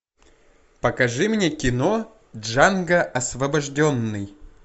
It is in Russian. покажи мне кино джанго освобожденный